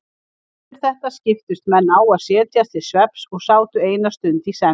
Eftir þetta skiptust menn á að setjast til svefns og sátu eina stund í senn.